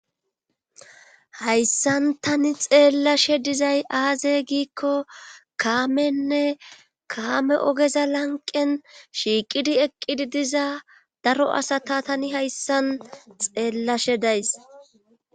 Hayssan tani xeelashe dizay aaze giiko kaamenne kaame ogeza lanqqen shiiqidi eqizi diza daro asata tani hayssan xeelashe days.